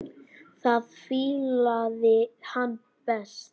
Það fílaði hann best.